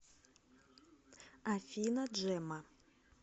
афина джемма